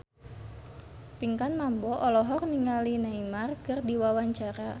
Pinkan Mambo olohok ningali Neymar keur diwawancara